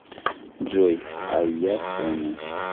джой а я соня